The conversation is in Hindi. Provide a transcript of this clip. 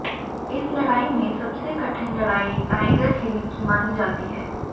इस लड़ाई में सबसे कठिन लड़ाई टाइगर हिल की मानी जाती है